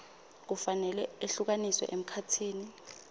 kufanele ehlukaniswe emkhatsini